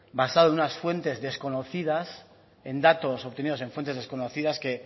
basado en unas fuentes desconocidas en datos obtenidos en fuentes desconocidas que